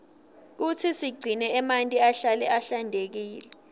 kutsi sigcine emanti ahlale ahlantekile